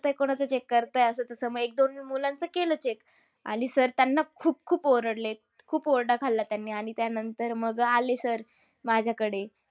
करतायत? कोणाचं check करतायत? हे असं-तसं. मग एक-दोन मुलांचं केलं check. आणि sir त्यांना खूप-खूप ओरडले. खूप ओरडा खालला त्यांनी आणि त्यानंतर मग आले sir माझ्याकडे